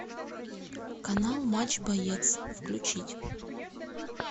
канал матч боец включить